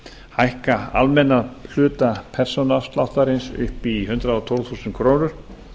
hækka almenna hluta persónuafsláttarins upp í hundrað og tólf þúsund krónur